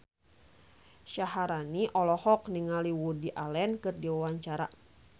Syaharani olohok ningali Woody Allen keur diwawancara